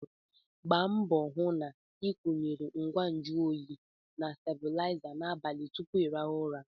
Gba mbọ hụ na ị kwụyere ngwa nju oyi na stebụlaiza n'abalị tupu ịrahụ ụra!